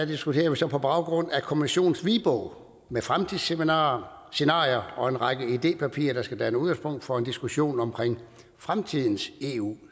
diskuterer vi så på baggrund af kommissionens hvidbog med fremtidsscenarier og en række idépapirer der skal danne udgangspunkt for en diskussion om fremtidens eu